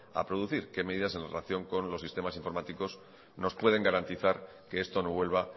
a producir qué medidas en relación con los sistemas informáticos nos pueden garantizar que esto no vuelva